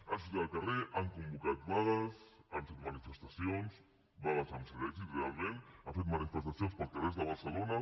han sortit al carrer han convocat vagues han fet manifestacions vagues amb cert èxit realment i han fet manifestacions pels carrers de barcelona